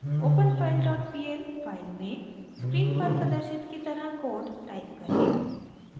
openfile dot pl file में screen पर प्रदर्शित की तरह कोड टाइप करें